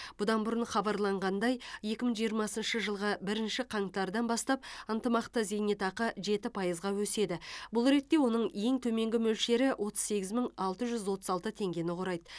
бұдан бұрын хабарланғандай екі мың жиырмасыншы жылғы бірінші қаңтардан бастап ынтымақты зейнетақы жеті пайызға өседі бұл ретте оның ең төменгі мөлшері отыз сегіз мың алты жүз отыз алты теңгені құрайды